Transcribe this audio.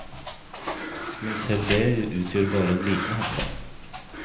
Men selv det utgjør bare en liten henstand.